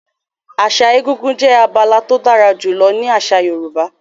Àṣà egúngún jẹ́ abala tó dára jùlọ nínú àṣà Yorùbá.